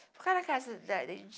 Ficar na casa da